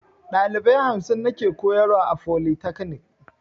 Dalibai hamsin nake koyarwa a folitakanik